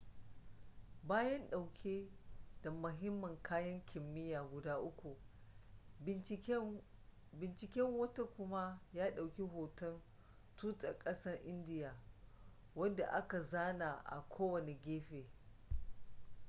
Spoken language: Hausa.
bayan ɗauke da mahimman kayan kimiyya guda uku binciken wata kuma ya ɗauki hoton tutar ƙasar indiya wanda aka zana a kowane gefe